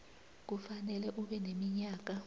kufanele ube neminyaka